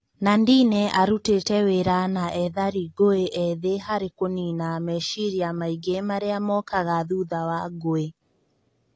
Nandine arutĩte wĩra na ethari ngũĩ ethĩ harĩ kũnina meciria maingĩ marĩa mokaga thutha wa ngũĩ.